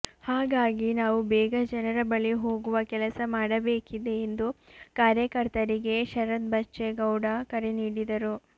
ಹಾಗಾಗಿ ನಾವು ಬೇಗ ಜನರ ಬಳಿ ಹೋಗುವ ಕೆಲಸ ಮಾಡಬೇಕಿದೆ ಎಂದು ಕಾರ್ಯಕರ್ತರಿಗೆ ಶರತ್ ಬಚ್ಚೇಗೌಡ ಕರೆ ನೀಡಿದರು